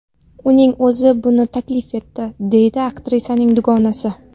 Uning o‘zi buni taklif etdi”, deydi aktrisaning dugonasi.